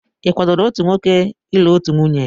Ị kwadoro otu nwoke ịlụ otu nwunye?